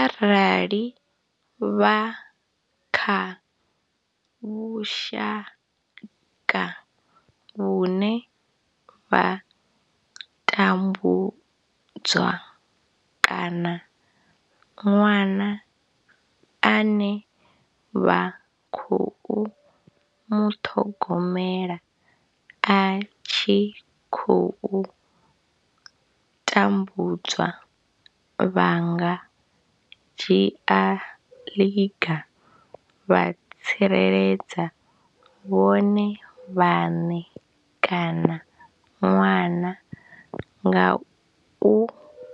Arali vha kha vhushaka vhune vha tambudzwa kana ṅwana ane vha khou muṱhogomela a tshi khou tambudzwa, vha nga dzhia ḽiga vha tsireledza vhone vhaṋe kana ṅwana nga u